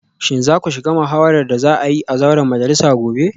Shin za ku shiga muhawarar da za a yi a zauren majalisa gobe?